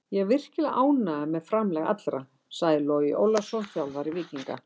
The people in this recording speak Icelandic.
Ég er virkilega ánægður með framlag allra, sagði Logi Ólafsson, þjálfari Víkinga.